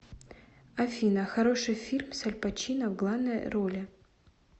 афина хороший фильм с аль пачино в главной роли